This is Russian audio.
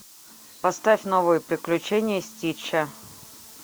поставь новые приключения стича